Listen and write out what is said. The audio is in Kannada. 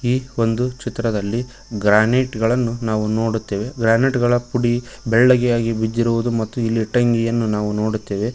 ಈ ಒಂದು ಚಿತ್ರದಲ್ಲಿ ಗ್ರಾನೈಟ ಗಳನ್ನು ನಾವು ನೋಡುತ್ತೆವೆ ಗ್ರಾನೈಟ್ ಗಳ ಪುಡಿ ಬೇಳಗೆ ಆಗಿ ಬಿದ್ದಿರುವುದು ಮತ್ತು ಟೆಂಗಿಯನ್ನು ನೋಡುತ್ತೆವೆ.